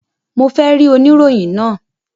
Mo fe ri oniroyin naa!